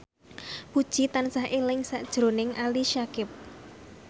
Puji tansah eling sakjroning Ali Syakieb